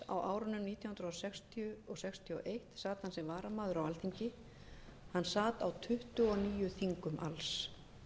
á árunum nítján hundruð sextíu til nítján hundruð sextíu og einn sat hann sem varamaður á alþingi hann sat á tuttugu og níu þingum alls